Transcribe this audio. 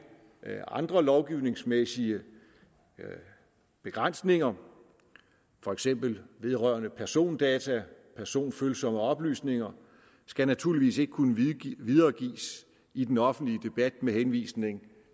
andre lovgivningsmæssige begrænsninger for eksempel vedrørende persondata personfølsomme oplysninger skal naturligvis ikke kunne videregives i den offentlige debat med henvisning